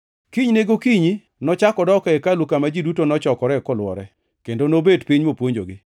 Kinyne gokinyi nochak odok e hekalu, kama ji duto nochokore kolwore, kendo nobet piny mopuonjogi.